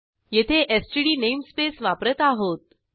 येथे STD namespace वापरत आहोत